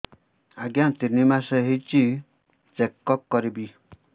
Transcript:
ଆଜ୍ଞା ତିନି ମାସ ହେଇଛି ଚେକ ଅପ କରିବି